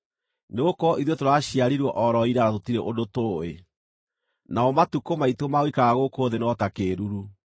nĩgũkorwo ithuĩ tũraciarirwo o ro ira na tũtirĩ ũndũ tũũĩ, namo matukũ maitũ ma gũikara gũkũ thĩ no ta kĩĩruru.